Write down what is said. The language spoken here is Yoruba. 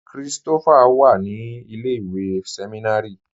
Kristofá wà ní ilẹ̀-ìwé sẹmìnárì